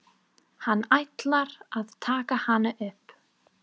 Hann ætlar að taka hana upp.